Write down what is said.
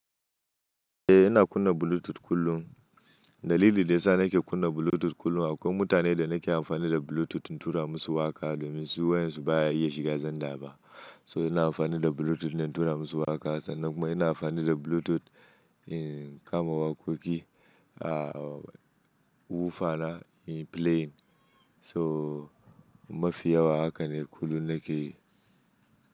Eh, ina kunna Bluetooth kullum. Dalili da yasa nake kunna Bluetooth kullum akwai mutanen da nake amfani da Bluetooth in tura musu waƙa domin su wayarsu baya iya shiga Zanda ba. So ina amfani da Bluetooth na tura musu waƙa, sannan kuma ina amfani da Bluetooth in kama waƙoƙi a woofer na in play. So mafi yawa haka ne kullum nake yi.